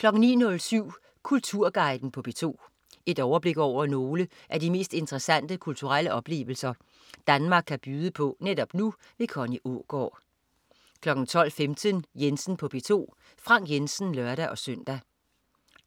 09.07 Kulturguiden på P2. Et overblik over nogle af de mest interessante kulturelle oplevelser Danmark kan byde på netop nu. Connie Aagaard 12.15 Jensen på P2. Frank Jensen (lør-søn)